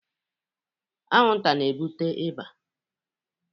Anwụnta na-ebute ịba.